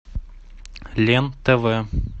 лен тв